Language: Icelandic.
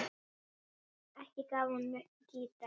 Ekki gaf hún mér gítar.